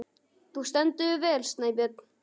Þú stendur þig vel, Snæbjörn!